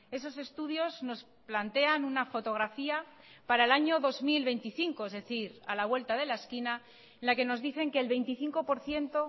esos estudios nos plantean una fotografía para el año dos mil veinticinco es decir a la vuelta de la esquina la que nos dicen que el veinticinco por ciento